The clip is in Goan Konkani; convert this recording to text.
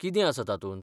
कितें आसा तातूंत?